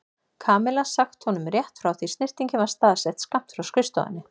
Kamilla sagt honum rétt frá því snyrtingin var staðsett skammt frá skrifstofunni.